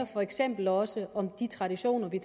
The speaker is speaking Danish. for eksempel også handler om de traditioner vi